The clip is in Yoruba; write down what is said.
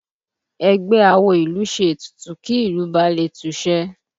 Ẹgbẹ́ awo ìlú ṣe ètùtù kí ìlú balè tùṣẹ